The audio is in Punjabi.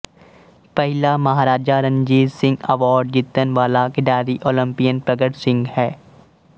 ਪਹਿਲਾ ਮਹਾਰਾਜਾ ਰਣਜੀਤ ਸਿੰਘ ਅਵਾਰਡ ਜਿੱਤਣ ਵਾਲਾ ਖਿਡਾਰੀ ਓਲੰਪਿਅਨ ਪ੍ਰਗਟ ਸਿੰਘ ਹੈ